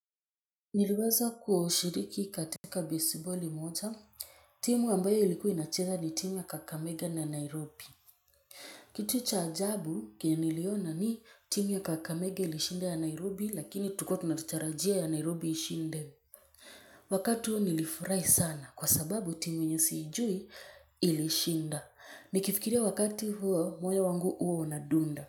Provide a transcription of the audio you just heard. Niliweza kushiriki katika baseboli moja. Timu ambayo ilikuwa inacheza ni timu ya kakamege na nairobi. Kitu cha ajabu kenye niliona ni timu ya kakamege ilishinda ya nairobi lakini tulikuwa tunatarajia ya nairobi ishinde. Wakati huo nilifurahi sana kwa sababu timu yenye siijui ilishinda nikifikiria wakati huo moyo wangu huwa unadunda.